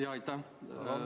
Jaa, aitäh!